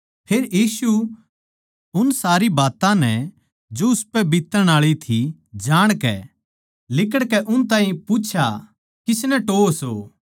फेर यीशु उन सारी बात्तां नै जो उसपै बीत्तण आळी थी जाणकै लिकड़कै उन ताहीं पूछा किसनै टोह्वो सो